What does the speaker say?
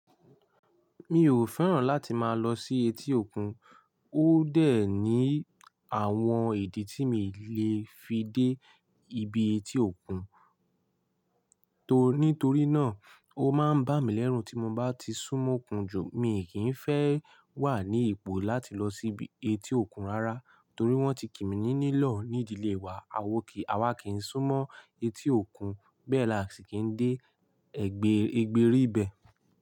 Mi ò fẹ́ràn láti máa lọ sí etí òkun, ó dẹ̀ ní àwọn ìdí tí mi lè fi dé ibi etí òkun. Torí, nítorí náà, ó máa ń bá mi lẹ́rùn tí mo bá ti sún mo òkun jù, mi kì í fẹ́ wà ní ipò láti lọ sí ibi etí òkun rárá, torí wọ́n ti kí mi ní nílọ̀ ní ìdílé wa. A ò kí, àwa kì í sún mọ́ etí òkun, bẹ́ẹ̀ laṣi kì í dé ẹgbẹ́ ìgbérì ibẹ̀